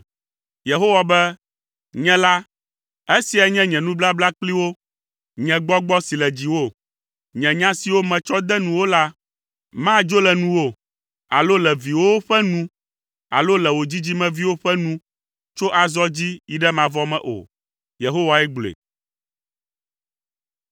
Yehowa be, “Nye la, esiae nye nye nubabla kpli wo. Nye Gbɔgbɔ si le dziwò, nye nya siwo metsɔ de nuwò la madzo le nuwò alo le viwòwo ƒe nu alo le wò dzidzimeviwo ƒe nu tso azɔ dzi yi ɖe mavɔ me o,” Yehowae gblɔe.